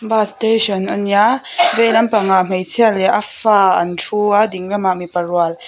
bus station a nia veilam pangah hmeichhia leh a fa an thu a dinglamah mipa rual.